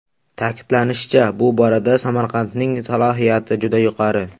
Ta’kidlanishicha, bu borada Samarqandning salohiyati juda yuqori.